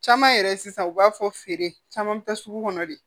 Caman yɛrɛ sisan u b'a fɔ feere caman bi taa sugu kɔnɔ de